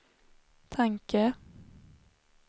tanke